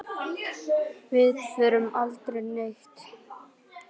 Við fórum aldrei neitt.